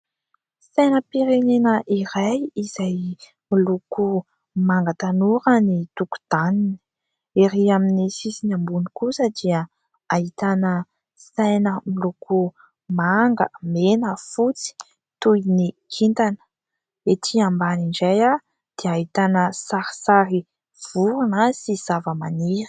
Sainam-pirenena iray izay miloko manga tanora ny toko-taniny , erỳ amin'ny sisiny ambony kosa dia hahitana saina miloko manga mena fotsy toy ny kintana , etỳ ambany indray aho dia hahitana sarisary vorona sy zava-maniry .